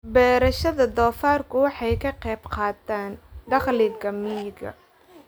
Beerashada doofaarku waxay ka qayb qaadataa dakhliga miyiga.